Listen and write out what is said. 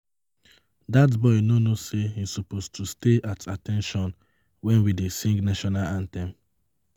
Dat boy no know say he suppose to stay at at ten tion wen we dey sing national anthem